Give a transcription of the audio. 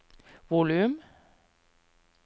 volum